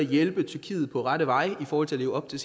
hjælpe tyrkiet på rette vej i forhold til at leve op til